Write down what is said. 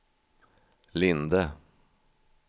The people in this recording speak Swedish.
Linde